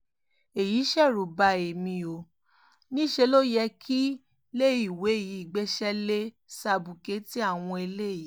èyí ṣerú bá èmi ò níṣẹ́ ló yẹ kíléèwé yìí gbéṣẹ́ lé sábùkẹ́ẹ̀tì àwọn eléyìí